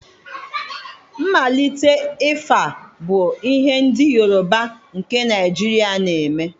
Mmalite ịfa bu ihe ndị Yorùbá nke Naijiria na-eme.